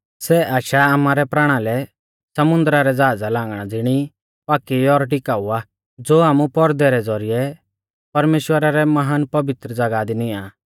सै आशा आमारै प्राणालै समुन्दरा रै ज़ाहज़ा रै लांगरा ज़िणी पाक्की और टिकाऊ आ ज़ो आमु पौरदै रै ज़ौरिऐ परमेश्‍वरा रै महान पवित्र ज़ागाह दी नियां आ